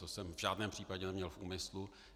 To jsem v žádném případě neměl v úmyslu.